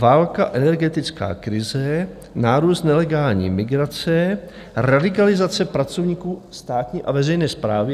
Válka, energetická krize, nárůst nelegální migrace, radikalizace pracovníků státní a veřejné správy.